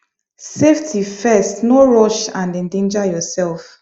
safety firstno rush and endanger yourself